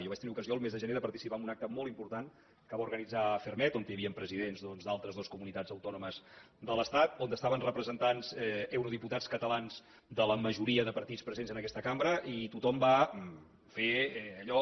jo vaig tenir ocasió el mes de gener de participar en un acte molt important que va organitzar ferrmed on hi havien presidents doncs d’altres dues comunitats autònomes de l’estat on estaven representats eurodiputats catalans de la majoria de partits presents en aquesta cambra i tothom va fer allò